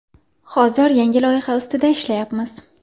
Hozir yangi loyiha ustida ishlayapmiz.